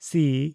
ᱥᱤ